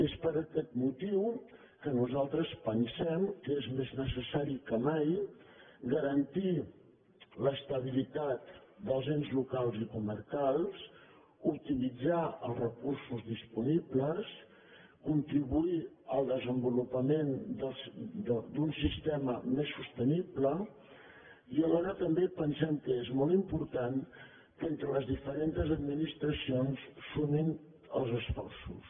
és per aquest motiu que nosaltres pensem que és més necessari que mai garantir l’estabilitat dels ens locals i comarcals optimitzar els recursos disponibles con·tribuir al desenvolupament d’un sistema més sosteni·ble i alhora també pensem que és molt important que entre les diferents administracions sumin els esforços